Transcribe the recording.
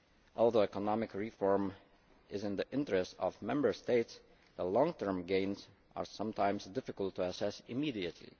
Although economic reform is in the interests of Member States, the long term gains are sometimes difficult to assess immediately.